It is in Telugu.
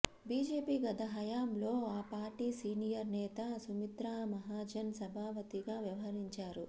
బీజేపీ గత హయాంలో ఆ పార్టీ సీనియర్ నేత సుమిత్రా మహాజన్ సభాపతిగా వ్యవహరించారు